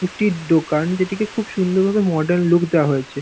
রুটির দোকান যেটিকে খুব সুন্দর ভাবে মর্ডান লুক দেওয়া হয়েছে।